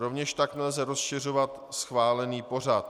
Rovněž tak nelze rozšiřovat schválený pořad.